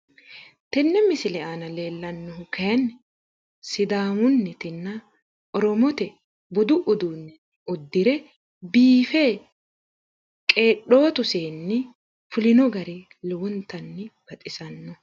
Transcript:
Tenne misile aana leellannohu kayiinni sidaamunnitinna oromote budu uduunne uddire biife qedhootu seenni fulino gari lowontanni baxisannoho.